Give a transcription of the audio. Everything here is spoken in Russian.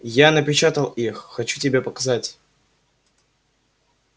я напечатал их хочу тебе показать